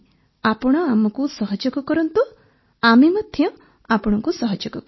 ଆପଣ ଆମକୁ ସହଯୋଗ କରନ୍ତୁ ଆମେ ମଧ୍ୟ ଆପଣଙ୍କୁ ସହଯୋଗ କରିବୁ